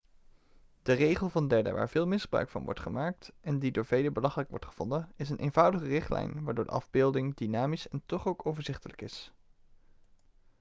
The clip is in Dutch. de regel van derden waar veel misbruik van wordt gemaakt en die door velen belachelijk wordt gevonden is een eenvoudige richtlijn waardoor de afbeelding dynamisch en toch ook overzichtelijk is